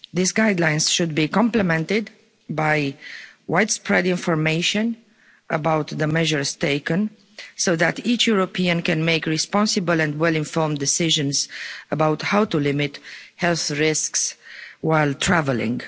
These guidelines should be complemented by widespread information about the measures taken, so that each European can make responsible and well informed decisions about how to limit health risks while travelling.